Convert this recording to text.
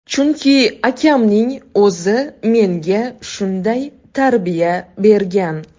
Chunki akamning o‘zi menga shunday tarbiya bergan.